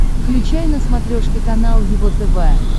включай на смотрешке канал его тв